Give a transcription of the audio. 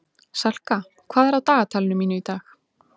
Salka, hvað er á dagatalinu mínu í dag?